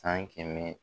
San kɛmɛ